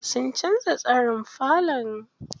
Sun canza tsarin falon.